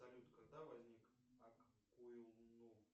салют когда возник аккуйюнут